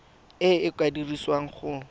e e ka dirisiwang go